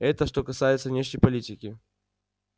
это что касается внешней политики